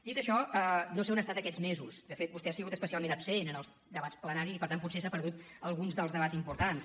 dit això no sé on ha estat aquests mesos de fet vostè ha sigut especialment absent en els debats plenaris i per tant potser s’ha perdut alguns dels debats importants